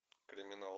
криминал